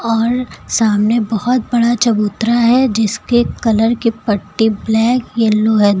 और सामने बहुत बड़ा चबूतरा है जिसके कलर के पट्टे ब्लैक येलो है।